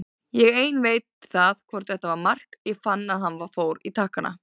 Ég einn veit það hvort þetta var mark, ég fann að hann fór í takkana.